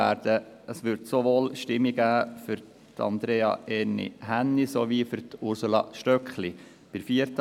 Es wird sowohl Stimmen für Andrea Erni Hänni als auch für Ursula Stöckli geben.